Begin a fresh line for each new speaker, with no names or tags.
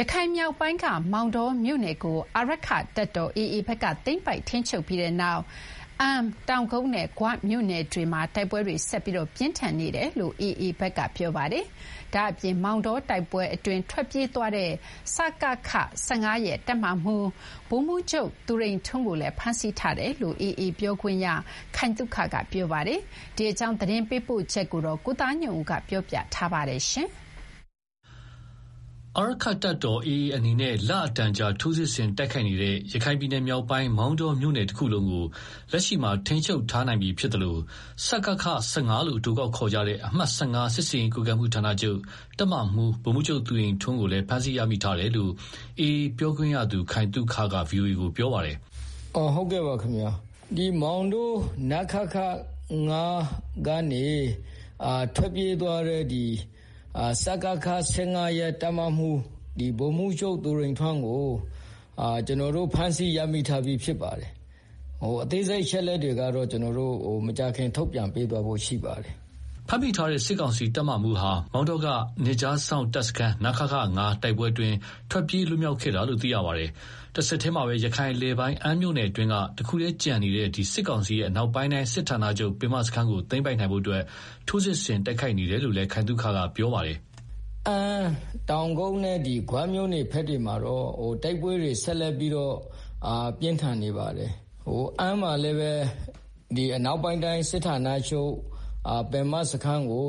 ရခိုင်မြောက်ပိုင်းက မောင်တောမြို့နယ်ကို အာရက္ခတပ်တော် AA ဘက်က သိမ်းပိုက်ထိန်းချုပ်ပြီးနောက် အမ်း၊တောင်ကုတ်နဲ့ ဂွမြို့နယ်တွေမှာ တိုက်ပွဲတွေ ဆက်လက်ပြင်းထန်နေတယ်လို့ AA ဘက်က ပြောပါတယ်။ ဒါ့အပြင် မောင်တောတိုက်ပွဲအတွင်း ထွက်ပြေးသွားတဲ့ စကခ ၁၅ ရဲ့တပ်မမှူး ဗိုလ်မှူးချုပ် သူရိန်ထွန်းကိုလည်းဖမ်းဆီးထားတယ်လို့လည်း AAပြောခွင့်ရ ခိုင်သုခက ပြောပါတယ်။ ဒီအကြောင်းရန်ကုန်က သတင်းပေးပို့ထားပါတယ်။ အာရက
္ခတပ်တော် AA အနေနဲ့ လအတော်ကြာထိုးစစ်ဆင်တိုက်ခိုက်နေတဲ့ ရခိုင်ပြည်နယ် မြောက်ပိုင်းက မောင်တောမြို့နယ်တခုလုံးကို လက်ရှိမှာထိန်းချုပ်ထားနိုင်ပြီးဖြစ်သလို စကခ ၁၅ လို့ အတိုကောက်ခေါ်တဲ့ အမှတ် ၁၅ စစ်ဆင်ရေးကွပ်ကဲမှု ဌာနချုပ် တပ်မမှူး ဗိုလ်မှူးချုပ်သူရိန်ထွန်း ကိုလည်းဖမ်းဆီးရမိထားတယ်လို့ AAပြောခွင့်ရ ခိုင်သုခကဗွီအိုအေကို ပြောပါတယ်။
“ မောင်တော နခခ-၅ ကနေ ထွက်ပြေးသွားတဲ့ စကခ ၁၅ ရဲ့တပ်မမှူး ဗိုလ်မှူးချုပ် သူရိန်ထွန်းကို ကျနော်တို့ ဖမ်းဆီးရမိထားပြီးဖြစ်ပါတယ်။ အသေးစိတ်အချက်အလက်ကိုတော့ မကြာခင်ထုတ်ပြန် ပေးသွားဖို့ရှိပါတယ်။”
အဲဒီဖမ်းမိတဲ့ စစ်ကောင်စီတပ်မမှုးဟာ မောင်တောက နယ်ခြားစောင့် တပ်စခန်း နခခ -၅ တိုက်ပွဲအတွင်း ထွက်ပြေးလွတ်မြောက်ခဲ့တာလို့ သိရပါတယ်။ တဆက်တည်းမှာ ရခိုင်အလယ်ပိုင်း အမ်းမြို့နယ်အတွင်းက တခုတည်းကျန်ရှိနေသေးတဲ့ စစ်ကောင်စီရဲ့ အနောက်ပိုင်းတိုင်းစစ်ဌာနချုပ် ပင်မစခန်းကို သိမ်းပိုက်နိုင်ဖို့ ထိုးစစ်ဆင်တိုက်ခိုက်နေတယ်လို့ သူက ပြောပါတယ်
။ “ အမ်း တောင်ကုတ်နဲ့ ဂွမြို့နယ်ဘက်တွေမှာတော့ တိုက်ပွဲတွေ ဆက်လက်ပြင်းထန်နေပါတယ်။ အမ်းမှာလည်း အနောက်ပိုင်းတိုင်းစစ်ဌာနချုပ် ပင်မစခန်းကို